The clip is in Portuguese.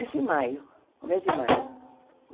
Isso em maio, começo de maio.